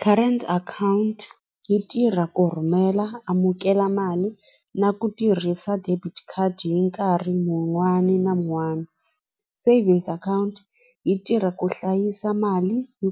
Current account yi tirha ku rhumela amukela mali na ku tirhisa debit card hi nkarhi mun'wani na mun'wani savings account yi tirha ku hlayisa mali hi